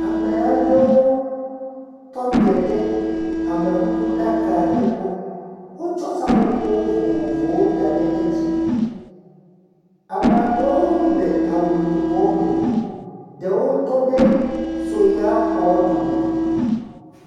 Ame aɖewo tɔ te ɖe amekukuɖaka aɖe gbɔ. Wotsɔ seƒoƒo vovovowo da ɖe edzi. Ame aɖewo le awu yibɔ me. Edewo tɔ ɖe soya xɔ ɖome.